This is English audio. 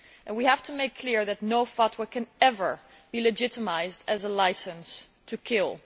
We have to make clear that no fatwa can ever be legitimised as a licence to kill.